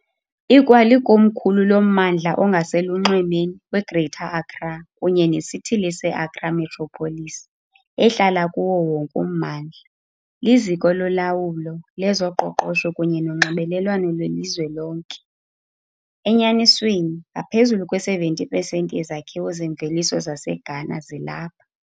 Ikwalikomkhulu lommandla ongaselunxwemeni we-Greater Accra kunye nesithili se-Accra Metropolis, ehlala kuwo wonke ummandla. Liziko lolawulo, lezoqoqosho kunye nonxibelelwano lwelizwe lonke, enyanisweni, ngaphezulu kwe-70 percent yezakhiwo zemveliso zaseGhana zilapha.